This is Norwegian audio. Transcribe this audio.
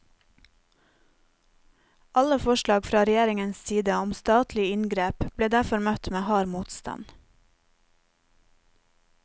Alle forslag fra regjeringens side om statlige inngrep ble derfor møtt med hard motstand.